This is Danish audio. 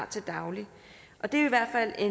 til daglig det er i hvert fald